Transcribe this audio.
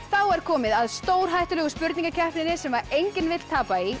er komið að stórhættulegu spurningakeppninni sem enginn vill tapa í